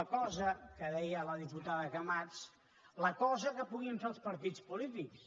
la cosa que deia la diputada camats que puguin fer els partits polítics